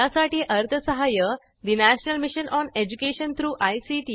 यासाठी अर्थसहाय्य national mission on education through I